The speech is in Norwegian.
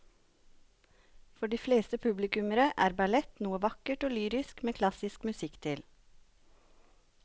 For de fleste publikummere er ballett noe vakkert og lyrisk med klassisk musikk til.